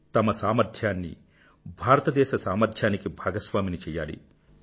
తమ సామర్ధ్యాన్ని భారతదేశ సామర్థ్యానికి భాగస్వామిని చెయ్యాలి